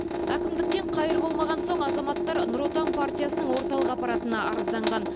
әкімдіктен қайыр болмаған соң азаматтар нұр отан партиясының орталық аппаратына арызданған